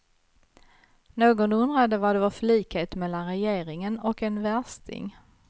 Någon undrade vad det var för likhet mellan regeringen och en värsting.